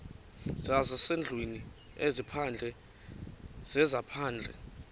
zezasendlwini ezaphandle zezaphandle